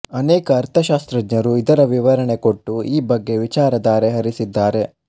ಅನೇಕ ಅರ್ಥಶಾಸ್ತ್ರಜ್ಞರು ಇದರ ವಿವರಣೆ ಕೊಟ್ಟು ಈ ಬಗ್ಗೆ ವಿಚಾರಧಾರೆ ಹರಿಸಿದ್ದಾರೆ